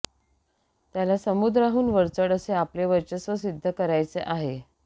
त्याला समुद्राहून वरचढ असे आपले वर्चस्व सिद्ध करायचे आहे